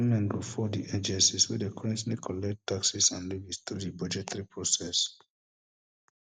bfor di agencies wey dey currently collect taxes and levies tru di budgetary process